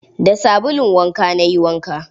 Da sabulun wanka na yi wanka.